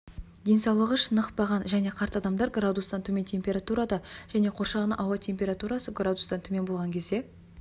денсаулығы шынықпаған және қарт адамдар градустан төмен температурада және қоршаған ауа температурасы градустан төмен болған кезде